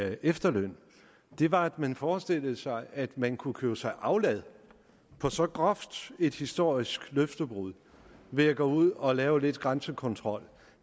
efterlønnen var at man forestillede sig at man kunne købe sig aflad på så groft et historisk løftebrud ved at gå ud og lave lidt grænsekontrol